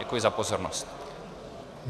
Děkuji za pozornost.